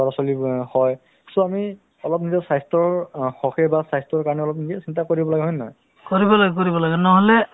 মানুহে ধৰক অ কথাতো অ কি হয় ন কিয়নো অ এতিয়া মানে অ প্ৰসিদ্ধ এটা এখন বাক্য আছে